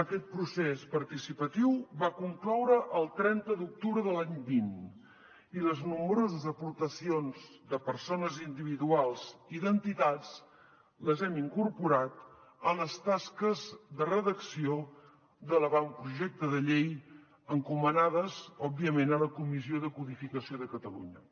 aquest procés participatiu va concloure el trenta d’octubre de l’any vint i les nombroses aportacions de persones individuals i d’entitats les hem incorporat a les tasques de redacció de l’avantprojecte de llei encomanades òbviament a la comissió de codificació de catalunya